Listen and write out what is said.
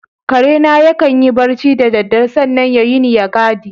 Karena ya kan yi barci da dare sannan ya wuni ya gadi.